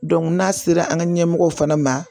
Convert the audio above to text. n'a sera an ka ɲɛmɔgɔw fana ma